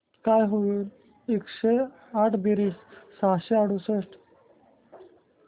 काय होईल एकशे आठ बेरीज सहाशे अडुसष्ट